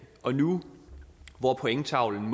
og nu hvor pointtavlen